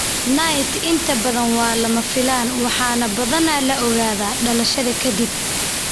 NAIT inta badan waa lama filaan waxaana badanaa la ogaadaa dhalashada kadib.